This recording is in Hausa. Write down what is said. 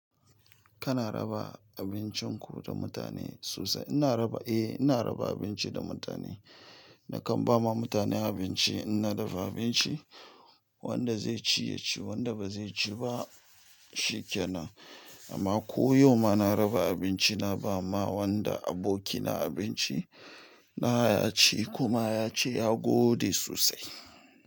Kana raba abincin ku da mutane sosai? Ina raba, eh ina raba abinci da mutane. Na kan ba ma mutane abinci, in na dafa abinci wanda zai ci ya ci, wanda ba zai ci ba shi. Shi ke nan. Amma ko yau ma na raba abinci, na ba ma wanda abokina abinci na ya ci kuma ya ce ya gode sosai.